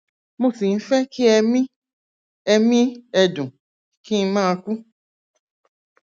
mo sì ń fẹ kí ẹmí ẹmí ẹdùn kí n máa kú